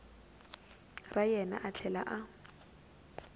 ra yena a tlhela a